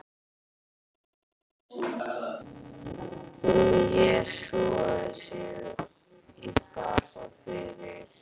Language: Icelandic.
Hún jesúsaði sig í bak og fyrir.